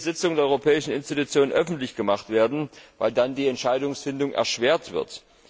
nicht jede Sitzung der europäischen Institutionen öffentlich gemacht werden, weil dann die Entscheidungsfindung erschwert wird.